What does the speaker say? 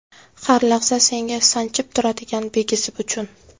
Har lahza senga Sanchib turadigan bigizi uchun.